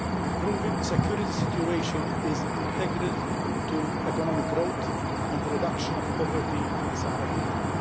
Improving the security situation is integral to economic growth and the reduction of poverty in the Sahel region.